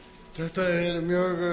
þetta er mjög